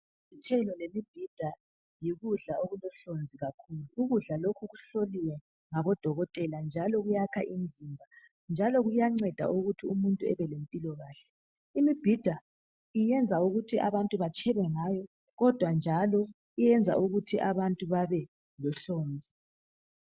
Izithelo lemibhida yikudla okulohlonzi kakhulu. Ukudla lokhu kuhloliwe ngaodokotela njalo yakha imizimba. Imibhida yenza ukuthi abantu batshebe ngayo, kodwa njalo yenza ukuthi abantu babelohlonzi.